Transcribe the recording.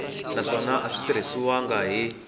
naswona a swi tirhisiwangi hi